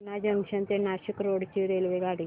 Purna junction ते Nashik road ची रेल्वेगाडी